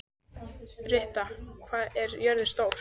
Britta, hvað er jörðin stór?